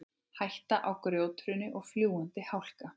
Hætta á grjóthruni og fljúgandi hálka